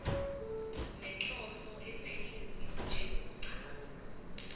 nenhloso ethize njengokuchaza